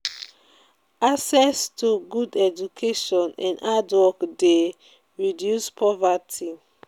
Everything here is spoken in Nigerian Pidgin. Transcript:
access to good education and hard work de reduce poverty